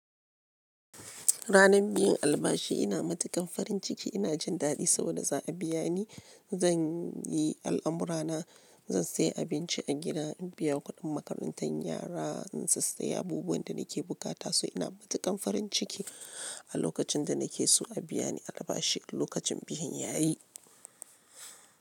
Ranar biyan albashi ina matuƙan farin ciki, ina jin daɗi saboda za a biya ni. Zan yi al'amura na, zan sayi abinci a gida, in biya kudin makarantan yara, in sai sayi abubuwan da nake bukata. So ina matuƙan farin ciki a lokacin da nake so a biya ni albashi, lokacin biyan yayi.